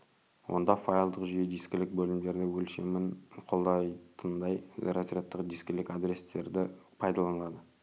онда файлдық жүйе дискілік бөлімдерді өлшемін қолдайтындай разрядтық дискілік адрестерді пайдаланады